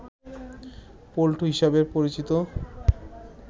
পল্টু হিসাবে পরিচিত